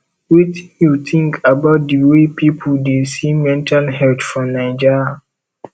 wetin you think about di way people dey see mental health for naija